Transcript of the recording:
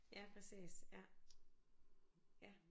Ja præcis ja ja